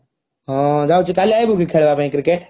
ହଁ ଯାଉଛି କାଲି ଆଇବୁ କି ଖେଳିବା ପାଇଁ cricket?